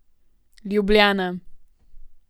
Ljubljana.